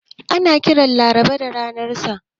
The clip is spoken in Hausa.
Ana kiran Laraba da ranar sa'a.